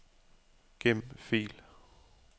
Gem fil.